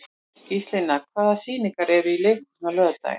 Gíslína, hvaða sýningar eru í leikhúsinu á laugardaginn?